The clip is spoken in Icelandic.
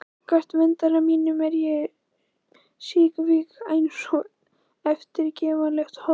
Gagnvart verndara mínum er ég síkvik einsog eftirgefanlegt hold.